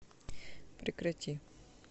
прекрати